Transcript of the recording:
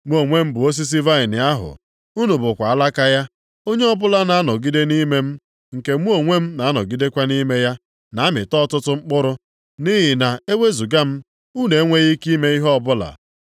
“Mụ onwe m bụ osisi vaịnị ahụ; unu bụkwa alaka ya. Onye ọbụla na-anọgide nʼime m, nke mụ onwe m na-anọgidekwa nʼime ya, na-amị ọtụtụ mkpụrụ. Nʼihi na ewezuga m, unu enweghị ike ime ihe ọbụla.